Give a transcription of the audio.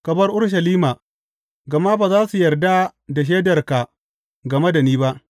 Ka bar Urushalima, gama ba za su yarda da shaidarka game da ni ba.’